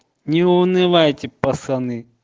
не унывайте пацаны